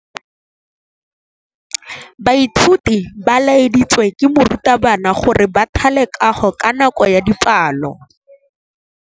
Baithuti ba laeditswe ke morutabana gore ba thale kagô ka nako ya dipalô.